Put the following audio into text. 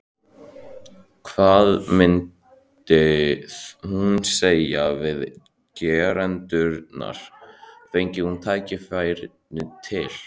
Hvað myndi hún segja við gerendurna, fengi hún tækifæri til?